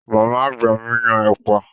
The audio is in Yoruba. Màmá àgbà mi yan ẹ̀pà.